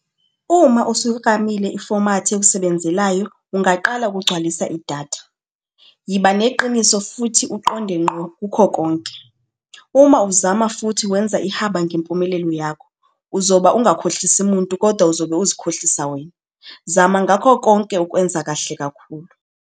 Uma usuyiklamile ifomathi ekusebenzelayo, ungaqala ukugcwalisa idatha. Yiba neqiniso futhi uqonde ngqo kukho konke. Uma uzama futhi wenza ihaba ngempumelelo yakho, uzoba ungakhohlisi muntu kodwa uzobe uzikhohlisa wena. Zama ngakho konke ukwenza kahle kakhulu.